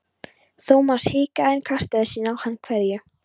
Thomas hikaði en kastaði síðan á hann kveðju.